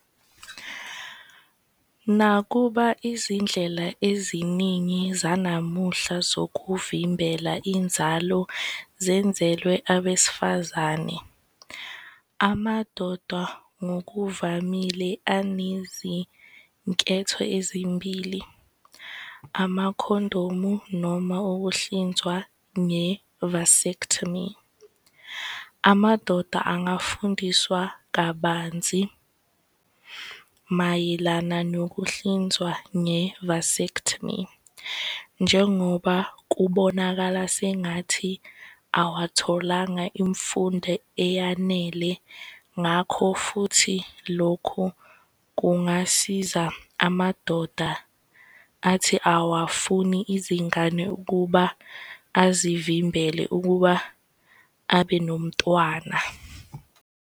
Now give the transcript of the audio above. Nakuba izindlela eziningi zanamuhla zokuvimbela inzalo zenzelwe abesifazane, amadoda ngokuvamile anezinketho ezimbili, amakhondomu noma ukuhlinzwa nge-vasectomy. Amadoda angafundiswa kabanzi mayelana nokuhlinzwa nge-vasectomy, njengoba kubonakala sengathi awatholanga imfundo eyanele. Ngakho futhi lokhu kungasiza amadoda athi awafuni izingane ukuba azivimbele ukuba abe nomntwana.